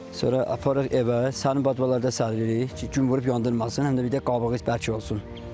Sonra aparırıq evə, sərin badvalarda səririk ki, gün vurub yandırmasın, həm də bir də qabığı bərk olsun.